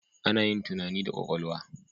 Ana yin tunani da kwakwalwa.